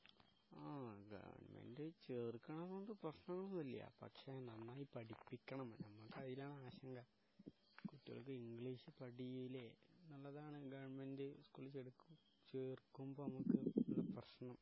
ആ ഗവൺമെന്റ് ചേർക്കണത് കൊണ്ട് പ്രശ്നമൊന്നുമില്ല പക്ഷേ നന്നായി പടിപ്പിക്കണം നമ്മക്ക് അതിലാണ് ആശങ്ക. കുട്ടികൾക്ക് ഇംഗ്ലീഷ് പടിയൂലെ എന്നുള്ളതാണ് ഗവൺമെന്റ് സ്കൂളില് ചേർക്ക് ചേർക്കുമ്പോ ഞമ്മക്ക് ഉള്ള പ്രശ്നം